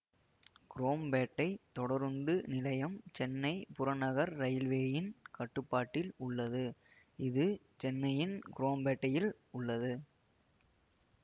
குரோம்பேட்டை தொடருந்து நிலையம் சென்னை புறநகர ரயில்வேயின் கட்டுப்பாட்டில் உள்ளது இது சென்னையின் குரோம்பேட்டையில் உள்ளது